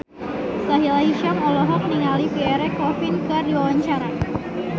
Sahila Hisyam olohok ningali Pierre Coffin keur diwawancara